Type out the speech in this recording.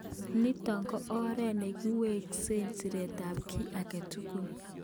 Nitok ko oret nekiweksei siret ab ki agetugul.